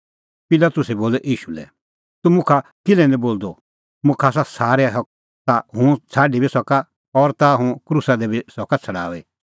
पिलातुसै बोलअ ईशू लै तूह मुखा किल्है निं बोलदअ मुखा आसा सारै हक ताह हुंह छ़ाडी बी सका और ताह हुंह क्रूसा दी बी सका छ़ड़ाऊई